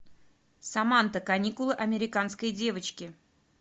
саманта каникулы американской девочки